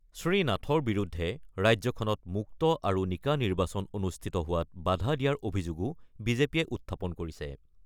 শ্ৰীনাথৰ বিৰুদ্ধে ৰাজ্যখনত মুক্ত আৰু নিকা নিৰ্বাচন অনুষ্ঠিত হোৱাত বাধা দিয়াৰ অভিযোগো বিজেপিয়ে উত্থাপন কৰিছে।